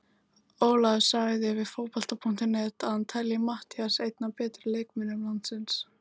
Ólafur sagði við Fótbolta.net að hann telji Matthías einn af betri leikmönnum landsins.